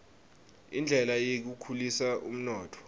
indlela yekukhulisa umnotfo